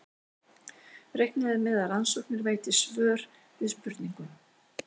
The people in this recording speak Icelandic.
Reiknað er með að rannsóknir veiti svör við spurningum.